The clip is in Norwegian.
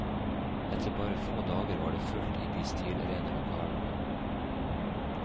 Etter bare få dager var det fullt i de stilrene lokalene.